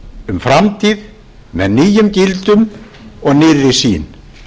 um framtíð með nýjum gildum og nýrri sýn